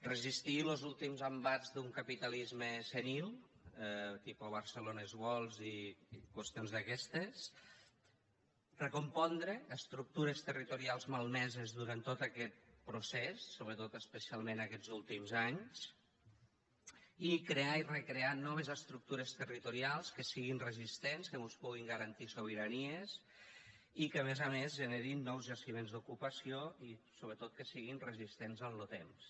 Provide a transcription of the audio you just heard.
resistir los últims embats d’un capitalisme senil tipus barcelones worlds i qüestions d’aquestes recompondre estructures territorials malmeses durant tot aquest procés sobretot especialment aquests últims anys i crear i recrear noves estructures territorials que siguin resistents que mos puguin garantir sobiranies i que a més a més generin nous jaciments d’ocupació i sobretot que siguin resistents en lo temps